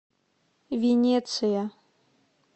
венеция